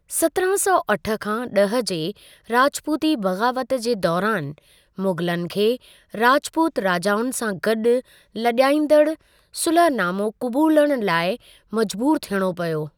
सत्रहां सौ अठ खां ॾह जे राजपूती बग़ावत जे दौरान, मुग़लनि खे राजपूत राजाउनि सां गॾु लॼाईंदड़ु सुलहनामो क़बूलणु लाइ मजबूर थियणो पियो।